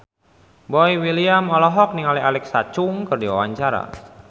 Boy William olohok ningali Alexa Chung keur diwawancara